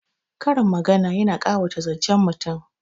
Karin magana yana ƙawata zancen mutum